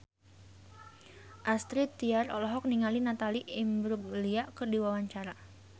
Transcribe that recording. Astrid Tiar olohok ningali Natalie Imbruglia keur diwawancara